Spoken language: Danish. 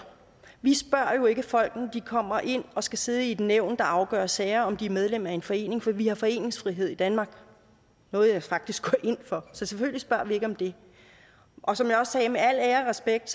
vi spørger jo ikke folk når de kommer ind og skal sidde i et nævn der afgør sager om de er medlem af en forening for vi har foreningsfrihed i danmark noget jeg faktisk går ind for så selvfølgelig spørger vi ikke om det og som jeg også sagde at med al ære og respekt